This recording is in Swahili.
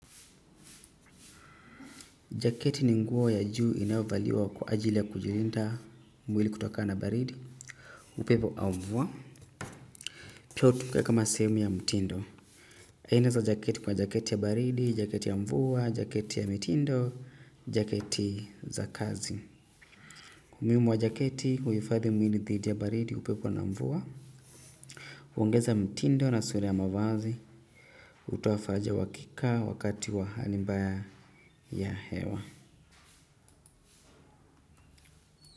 Jaketi ni nguo ya juu inayovaliwa kwa ajili ya kulinda mwili kutokana na baridi. Upepo au mvua. Pia hutumika kama sehemu ya mtindo. Aina za jaketi kuna jaketi ya baridi, jaketi ya mvua, jaketi ya mitindo, jaketi za kazi. Umuhimu wa jaketi huhufadhi mwili dhidi ya baridi upepo na mvua. Hongeza mtindo na sura ya mavazi. Hutoa faraja ya uhakika wakati wa hali mbaya ya hewa.